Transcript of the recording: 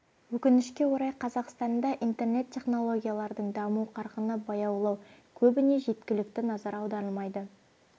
өкінішке орай қазақстанда интернет технологиялардың даму қарқыны баяулау көбіне жеткілікті назар аударылмайды